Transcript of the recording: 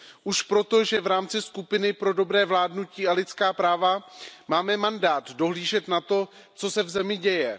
Už proto, že v rámci skupiny pro dobré vládnutí a lidská práva máme mandát dohlížet na to, co se v zemi děje.